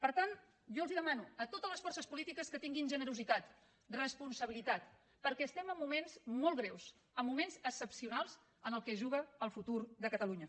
per tant jo els ho demano a totes les forces polítiques que tinguin generositat responsabilitat perquè estem en moments molt greus en moments excepcionals en què es juga el futur de catalunya